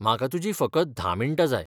म्हाका तुजीं फकत धा मिन्टां जाय.